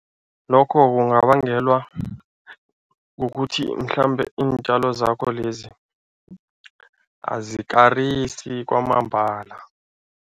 Lokho kungabangelwa kukuthi mhlambe iintjalo zakho lezi azikarisi kwamambala.